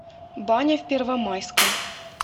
баня в первомайском